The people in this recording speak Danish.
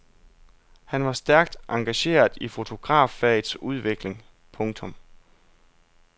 Han var stærkt engageret i fotograffagets udvikling. punktum